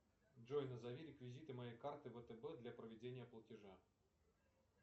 джой назови реквизиты моей карты втб для проведения платежа